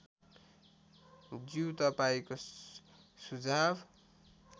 ज्यू तपाईँको सुझाव